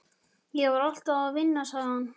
Ég var alltaf að vinna, sagði hann.